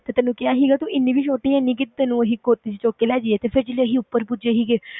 ਤੇ ਤੈਨੂੰ ਕਿਹਾ ਸੀਗਾ ਤੂੰ ਇੰਨੀ ਵੀ ਛੋਟੀ ਹੈ ਨੀ ਕਿ ਤੈਨੂੰ ਅਸੀਂ ਗੋਦੀ ਵਿੱਚ ਚੁੱਕ ਕੇ ਲੈ ਜਾਈਏ, ਤੇ ਫਿਰ ਜਦੋਂ ਅਸੀਂ ਉੱਪਰ ਪੁੱਜੇ ਸੀਗੇ,